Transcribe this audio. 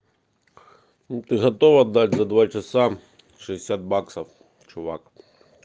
ты готов отдать за два часа шестьдесят баксов чувак